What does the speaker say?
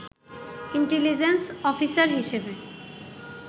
intelligence officer হিসেবে